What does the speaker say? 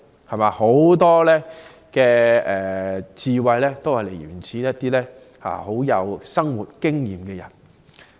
很多智慧都是源自一些有豐富生活經驗的人。